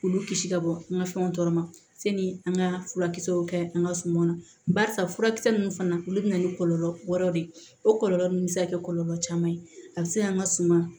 K'olu kisi ka bɔ an ka fɛnw tɔɔrɔ ma sani an ka furakisɛw kɛ an ka sumanw na barisa furakisɛ ninnu fana olu bɛ na ni kɔlɔlɔ wɛrɛw de ye o kɔlɔlɔ ninnu bɛ se ka kɛ kɔlɔlɔ caman ye a bɛ se an ka suma